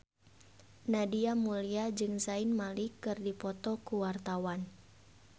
Nadia Mulya jeung Zayn Malik keur dipoto ku wartawan